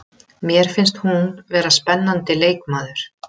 Mér finnst hún vera spennandi leikmaður.